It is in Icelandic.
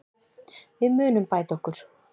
Við munum bæta okkur.